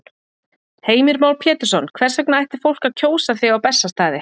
Heimir Már Pétursson: Hvers vegna ætti fólk að kjósa þig á Bessastaði?